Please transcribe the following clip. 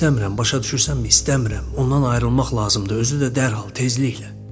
İstəmirəm, başa düşürsənmi, istəmirəm, ondan ayrılmaq lazımdır, özü də dərhal, tezliklə.